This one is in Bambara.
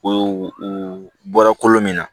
O u bɔra kolo min na